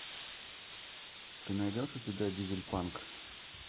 ты найдешь у себя дизель панк